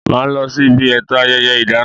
Ma losi ibi eto ayẹyẹ ìdáná